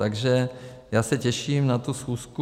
Takže já se těším na tu schůzku.